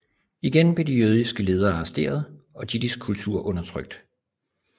Igen blev de jødiske ledere arresteret og jiddisch kultur undertrykt